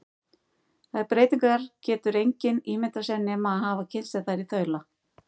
Þær breytingar getur engin ímyndað sér nema að hafa kynnt sér þær í þaula.